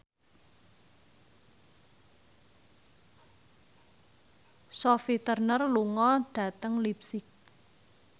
Sophie Turner lunga dhateng leipzig